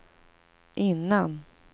innan